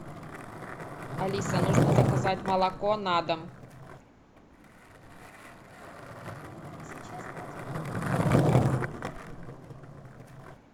алиса нужно заказать молоко на дом